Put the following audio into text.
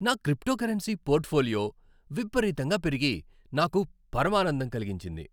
నా cryptocurrency portfolio విపరీతంగా పెరిగి నాకు పరమానందం కలిగించింది.